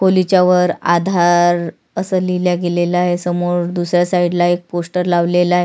खोलीच्या वर आधार अस लिहल गेलेल आहे समोर दुसऱ्या साइड ला पोस्टर लावलेलं आहे.